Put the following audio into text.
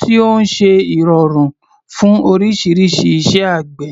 tí ó ń ṣe ìrọ̀rùn fún oríṣiríṣi iṣẹ́ àgbẹ̀.